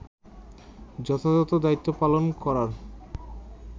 যথাযথ দায়িত্ব পালন করার